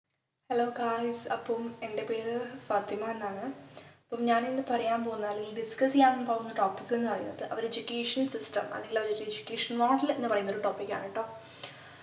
hello guys അപ്പം എൻ്റെ പേര് ഫാത്തിമ എന്നാണ് അപ്പം ഞാൻ ഇന്ന് പറയാൻ പോകുന്ന അല്ലെങ്കിൽ discuss ചെയ്യാൻ പോകുന്ന topic ന്നു പറയുന്നത് our education system അല്ലെങ്കിൽ our education model എന്ന് പറയുന്ന ഒരു topic ആണ് ട്ടോ